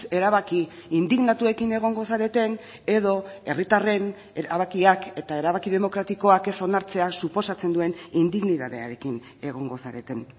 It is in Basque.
erabaki indignatuekin egongo zareten edo herritarren erabakiak eta erabaki demokratikoak ez onartzeak suposatzen duen indignitatearekin egongo zareten